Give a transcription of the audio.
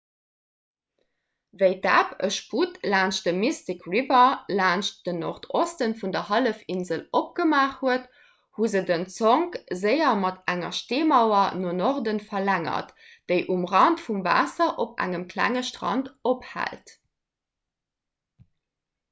wéi d'ebb e sputt laanscht dem mystic river laanscht den nordosten vun der hallefinsel opgemaach huet hu se den zonk séier mat enger steemauer no norde verlängert déi um rand vum waasser op engem klenge strand ophält